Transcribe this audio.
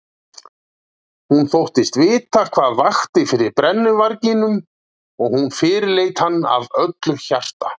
Hún þóttist vita hvað vakti fyrir brennuvarginum og hún fyrirleit hann af öllu hjarta.